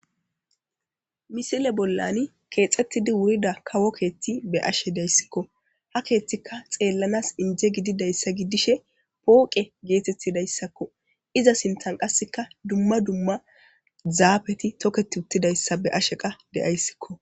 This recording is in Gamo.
misile bollani keexettidi wurida kawo keethti be ashe dayssikko ha keethtika xeellanas inje gididayssa giddishe pooqe geetettidayssakko iza sintan qasseka dumma dumma zaabeti toketi uttidayssa be ashe qa deyayssikko